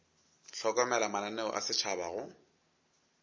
hlokomela mananeo a setšhaba go